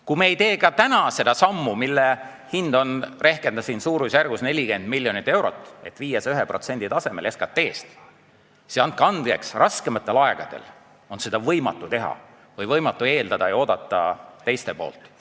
Kui me ei tee ka täna seda sammu, mille hind on, rehkendasin, suurusjärgus 44 miljonit eurot, et viia see 1% tasemele SKT-st, siis andke andeks, raskematel aegadel on seda võimatu teha või võimatu eeldada ja oodata teistelt.